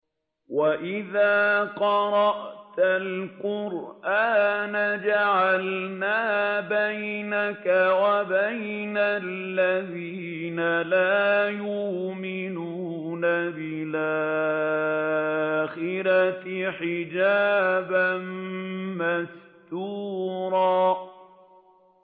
وَإِذَا قَرَأْتَ الْقُرْآنَ جَعَلْنَا بَيْنَكَ وَبَيْنَ الَّذِينَ لَا يُؤْمِنُونَ بِالْآخِرَةِ حِجَابًا مَّسْتُورًا